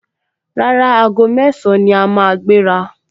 Rárá, aago mẹ́ẹ̀sán ni a máa gbéra